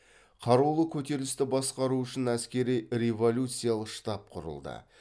қарулы көтерілісті басқару үшін әскери революцалық штаб құрылды